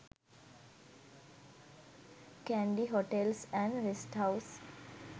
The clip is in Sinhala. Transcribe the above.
kandy hotels and rest house